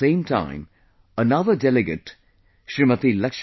At the same time, another delegate Smt